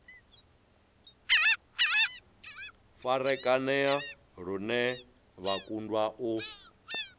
farakanea lune vha kundwa u